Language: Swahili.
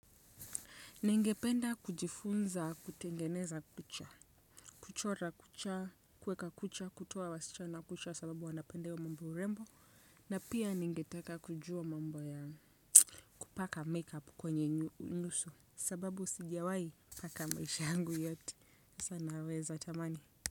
Ningependa kujifunza kutengeneza kucha, kuchora kucha, kuweka kucha, kutoa wasichana kucha sababu wanapenda hi mambo ya urembo na pia ningeteka kujua mambo ya kupaka 'make-up' kwenye nyuso sababu sijawahi paka maisha hangu yati. Sasa naweza tamani.